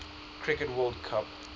cricket world cup